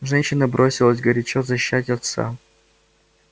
женщина бросилась горячо защищать отца